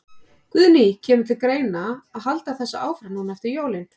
Guðný: Kemur til greina að halda þessu áfram núna eftir jólin?